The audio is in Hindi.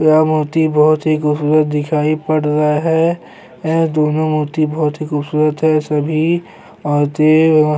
यह मूर्ति बहुत ही खूबसूरत दिखाई पड़ रहा है यह दोनों मूर्ति बहुत ही खूबसूरत है सभी औरते वहाँ --